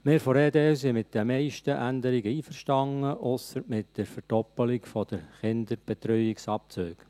Wir von der EDU sind mit den meisten Änderungen einverstanden, ausser mit der Verdoppelung der Kinderbetreuungsabzüge.